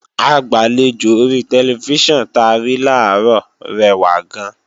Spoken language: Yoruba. Agbàlejò ori tẹlifíṣàn ta rí làárọ̀ rẹwà gan-an